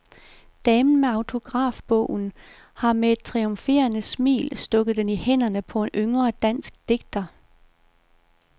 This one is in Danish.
Damen med autografbogen har med et triumferende smil stukket den i hænderne på en yngre dansk digter.